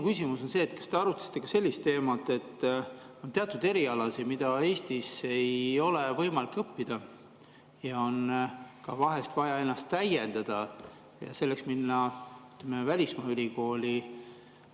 Kas te arutasite ka sellist teemat, et teatud erialasid ei ole Eestis võimalik õppida, ja on ka vaja ennast täiendada ja selleks minna välismaa ülikooli?